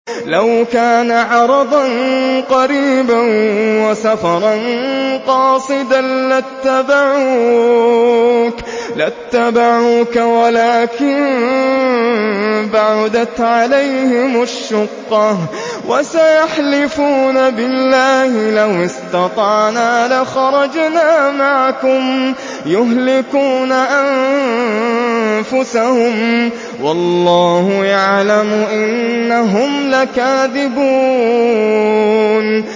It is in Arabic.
لَوْ كَانَ عَرَضًا قَرِيبًا وَسَفَرًا قَاصِدًا لَّاتَّبَعُوكَ وَلَٰكِن بَعُدَتْ عَلَيْهِمُ الشُّقَّةُ ۚ وَسَيَحْلِفُونَ بِاللَّهِ لَوِ اسْتَطَعْنَا لَخَرَجْنَا مَعَكُمْ يُهْلِكُونَ أَنفُسَهُمْ وَاللَّهُ يَعْلَمُ إِنَّهُمْ لَكَاذِبُونَ